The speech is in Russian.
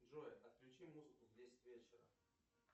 джой отключи музыку в десять вечера